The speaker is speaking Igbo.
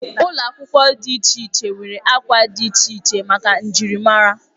Ụlọ akwụkwọ dị iche iche nwere akwa dị iche iche maka njirimara.